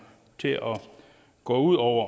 til at gå ud over